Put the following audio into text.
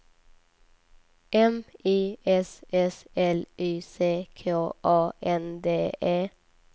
M I S S L Y C K A N D E